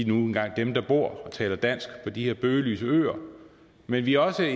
nu engang dem der bor her og taler dansk på de her bøgelyse øer men vi er også